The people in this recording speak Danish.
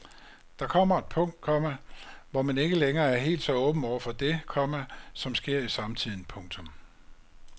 Der kommer et punkt, komma hvor man er ikke længere er helt så åben over for det, komma som sker i samtiden. punktum